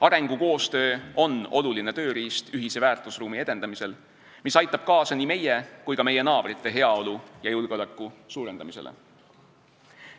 Arengukoostöö on oluline tööriist ühise väärtusruumi edendamisel, mis aitab kaasa nii meie kui ka meie naabrite heaolu ja julgeoleku suurendamisele.